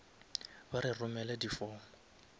ba re romele di form